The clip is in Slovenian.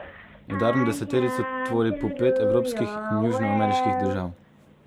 Udarno deseterico tvori po pet evropskih in južnoameriških držav.